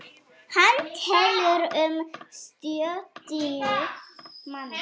Hann telur um sjötíu manns.